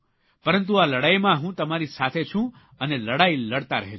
પરંતુ આ લડાઇમાં હું તમારી સાથે છું અને લડાઇ લડતા રહેજો